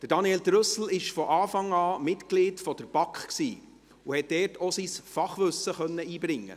Daniel Trüssel war von Anfang an Mitglied der BaK und hat dort auch sein Fachwissen einbringen können.